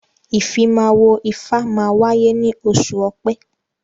Ìfimáwo ifá máa wáyé ní oṣù ọ̀pẹ́